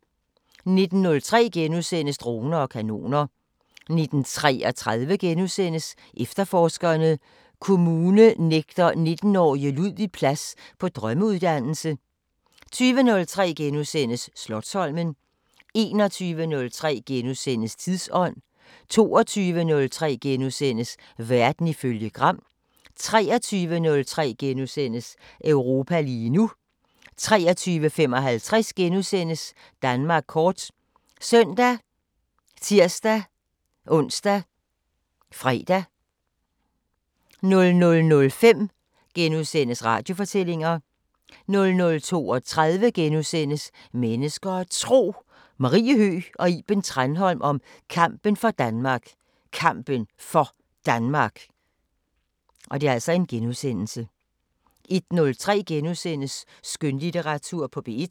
19:03: Droner og kanoner * 19:33: Efterforskerne: Kommune nægter 19-årige Ludvig plads på drømmeuddannelse * 20:03: Slotsholmen * 21:03: Tidsånd * 22:03: Verden ifølge Gram * 23:03: Europa lige nu * 23:55: Danmark kort *( søn, tir-ons, fre) 00:05: Radiofortællinger * 00:32: Mennesker og Tro: Marie Høgh og Iben Tranholm om kampen for Danmark Kampen for Danmark * 01:03: Skønlitteratur på P1 *